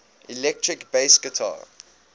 electric bass guitar